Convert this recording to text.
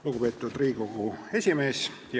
Lugupeetud Riigikogu esimees!